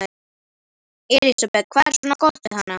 Elísabet: Hvað er svona gott við hana?